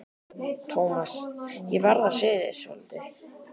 Thomas, ég verð að segja þér svolítið.